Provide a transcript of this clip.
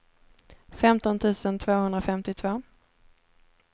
femton tusen tvåhundrafemtiotvå